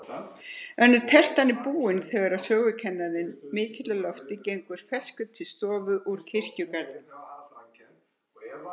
Önnur tertan er búin, þegar sögukennarinn mikli á lofti gengur ferskur til stofu úr kirkjugarðinum.